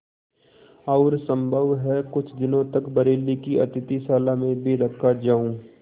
और सम्भव है कुछ दिनों तक बरेली की अतिथिशाला में भी रखा जाऊँ